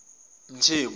mthembu